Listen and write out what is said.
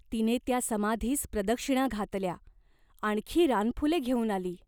तिने त्या समाधीस प्रदक्षिणा घातल्या, आणखी रानफुले घेऊन आली.